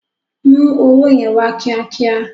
Mú owó yẹn wá kíá kíá.